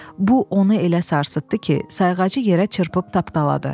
Bu onu elə sarsıtdı ki, sayğacı yerə çırpıb tapdaladı.